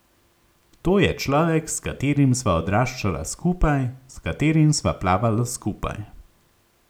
To je človek, s katerim sva odraščala skupaj, s katerim sva plavala skupaj.